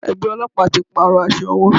Ẹgbẹ́ Ọlọ́pàá ti pàrọ̀ aṣọ wọn.